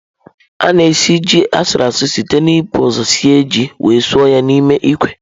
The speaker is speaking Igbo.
A na esi ji asuruasu site n'ibu ụzọ sie ji wee suo ya n'ime ikwe.